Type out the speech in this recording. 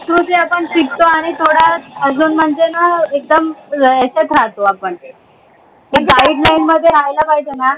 संस्कृती आपण शिकतो आणि थोडा अजून म्हणजे न एकदम यच्यात राहतो आपण Guideline मध्ये राहायला पाहिजे ना